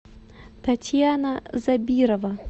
татьяна забирова